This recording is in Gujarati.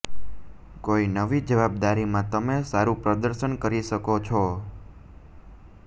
કોઇ નવી જવાબદારીમાં તમે સારું પ્રદર્શન કરી શકો છો